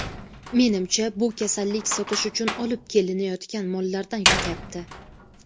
Menimcha, bu kasallik sotish uchun olib kelinayotgan mollardan yuqyapti.